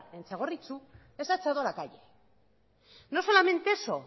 en txagorritxu les ha echado a la calle no solamente eso